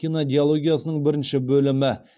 кинодиологиясының бірінші бөлімі